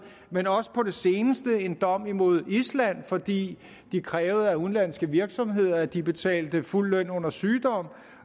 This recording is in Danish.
men også på det seneste en dom imod island fordi de krævede af udenlandske virksomheder at de betalte fuld løn under sygdom